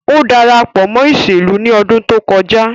O darapo mo iselu ni odun to koja